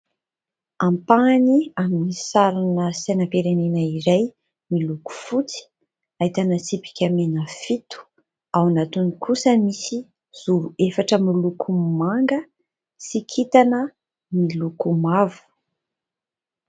Ampahany amin'ny sarina sainam-pirenena iray miloko fotsy ahitana tsipika mena fito. Ao anatiny kosa misy zoro efatra miloko manga sy kintana miloko mavo.